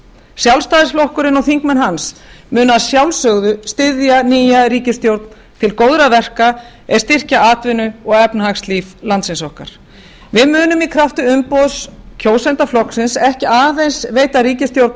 sjálfstæðisflokkurinn og þingmenn hans munu að sjálfsögðu styðja nýja ríkisstjórn til góðra verka er styrkja atvinnu og efnahagslíf landsins okkar við munum í krafti umboðs kjósenda flokksins ekki aðeins veita ríkisstjórn